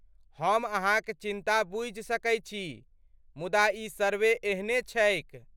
हम अहाँक चिन्ता बुझि सकै छी, मुदा ई सर्वे एहने छैक।